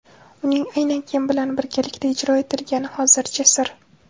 Uning aynan kim bilan birgalikda ijro etilgani hozircha sir.